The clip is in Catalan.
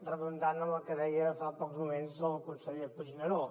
redundant amb el que deia fa pocs moments el conseller puigneró